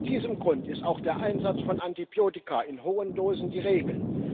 Aus diesem Grund ist auch der Einsatz von Antibiotika in hohen Dosen die Regel.